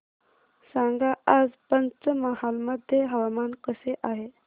सांगा आज पंचमहाल मध्ये हवामान कसे आहे